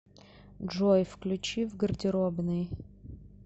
джой включи в гардеробной